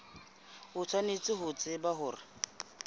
o tshwanetse ho tseba hore